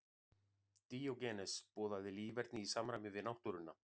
Díógenes boðaði líferni í samræmi við náttúruna.